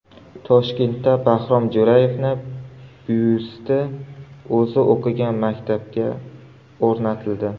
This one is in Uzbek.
Toshkentda Bahrom Jo‘rayevning byusti o‘zi o‘qigan maktabga o‘rnatildi.